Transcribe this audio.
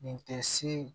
Nin tɛ se